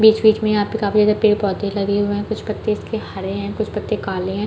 बिच-बिच में यहाँ काफी ज्यादा पेड़ पौधे लगे हुए है कुछ पत्ते इसके हरे है कुछ पत्ते काले है।